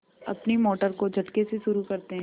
अपनी मोटर को झटके से शुरू करते हैं